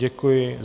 Děkuji.